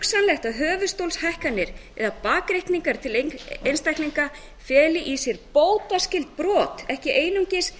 hugsanlegt að höfuðstólshækkanir eða bakreikningar til einstaklinga feli í sér bótaskyld brot ekki einungis